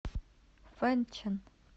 фэнчэн